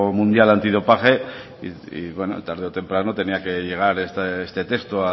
mundial antidopaje y bueno tarde o temprano tenía que llegar este texto